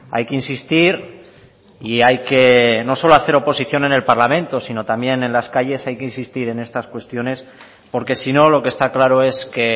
hay que insistir y hay que no solo hacer oposición en el parlamento sino también en las calles hay que insistir en estas cuestiones porque si no lo que está claro es que